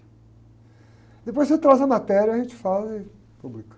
Depois você traz a matéria, a gente fala e publica.